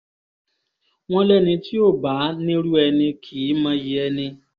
wọ́n lẹ́ni tí ó bá nírú ẹni ni kì í mọyì ẹni